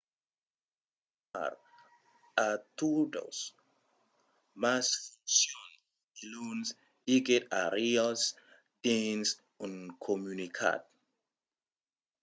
espèri tornar a totas mas foncions diluns, diguèt arias dins un comunicat